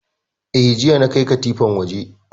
Eh, jiya na kai katifan waje